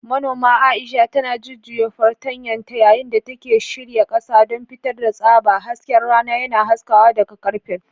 Manoma Aisha tana jujjuya fartanyanta yayin da take shirya kasa don fitar da tsaba, hasken rana yana haskawa daga karfen.